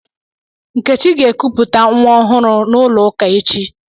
Nkechi ga-ekuputa nwa ọhụrụ n'ụlọ ụka echi.